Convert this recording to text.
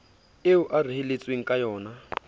eo a reheletsweng kayona ha